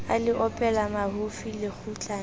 a le opela mahofi lekgutlana